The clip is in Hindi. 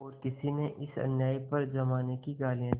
और किसी ने इस अन्याय पर जमाने को गालियाँ दीं